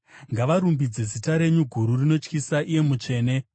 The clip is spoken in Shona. Ngavarumbidze zita renyu guru rinotyisa, iye mutsvene.